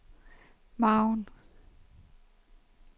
margen